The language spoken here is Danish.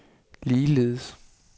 ligeledes